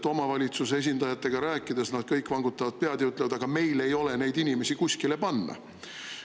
Kui omavalitsuse esindajatega rääkida, siis nad kõik vangutavad pead ja ütlevad: "Aga meil ei ole neid inimesi kuskile panna.